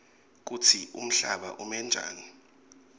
kutsi umhlaba umenjani